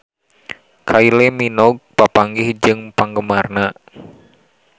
Kylie Minogue papanggih jeung penggemarna